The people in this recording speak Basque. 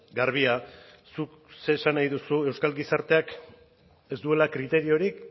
garbia zuk zer esan nahi duzu euskal gizarteak ez duela kriteriorik